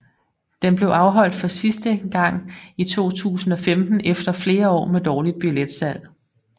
Den blev afholdt for sidste gange i 2015 efter flere år med dårligt billetslag